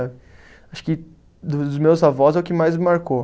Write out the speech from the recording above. Acho que dos meus avós é o que mais me marcou.